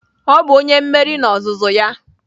Ọ bụ onye mmeri n'ozuzu ya!